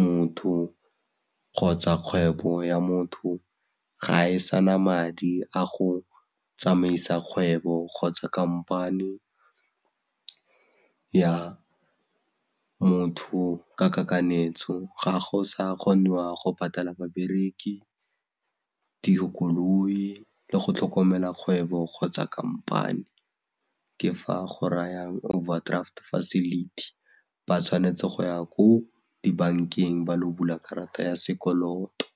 motho kgotsa kgwebo ya motho ga e sana madi a go tsamaisa kgwebo kgotsa khamphani ya motho ka kakanyetso ga go sa kgoniwa go patala babereki, dikoloi le go tlhokomela kgwebo kgotsa khamphani ke fa go rayang Overdraft Facility ba tshwanetse go ya ko dibankeng ba lo bula karata ya sekoloto.